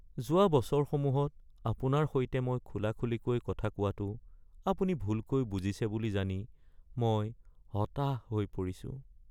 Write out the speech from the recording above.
যোৱা বছৰসমূহত আপোনাৰ সৈতে মই খোলাখুলিকৈ কথা কোৱাটো আপুনি ভুলকৈ বুজিছে বুলি জানি মই হতাশ হৈ পৰিছোঁ।